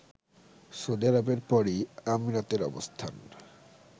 Saudi আরবের পরই আমিরাতের অবস্থান